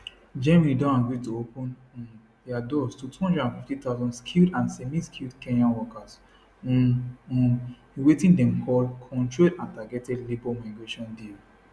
germany don agree to open um dia doors to 250000 skilled and semiskilled kenyan workers um um in wetin dem call controlled and targeted labour migration deal